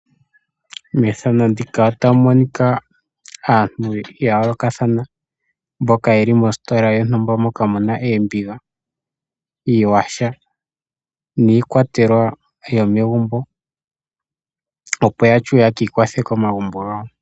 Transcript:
Methano ndika otamu monika aantu ya yooloka thana, mboka yeli mostola yontumbamoka muna oombiga, uuyaha niikwatelwa yo megumbo, opo ya shiwe ye kiikwathe komagumbo gayo.